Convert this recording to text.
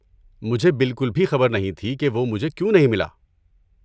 مجھے بالکل بھی خبر نہیں تھی کہ وہ مجھے کیوں نہیں ملا۔